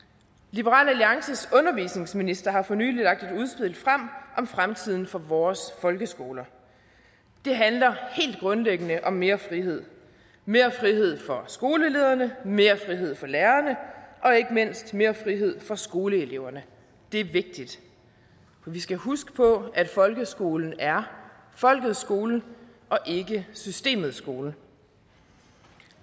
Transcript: liberal alliances undervisningsminister har for nylig lagt et udspil frem om fremtiden for vores folkeskoler det handler helt grundlæggende om mere frihed mere frihed for skolelederne mere frihed for lærerne og ikke mindst mere frihed for skoleeleverne det er vigtigt vi skal huske på at folkeskolen er folkets skole og ikke systemets skole